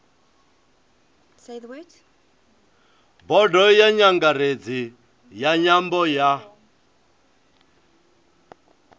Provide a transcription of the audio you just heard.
bodo nyangaredzi ya nyambo ya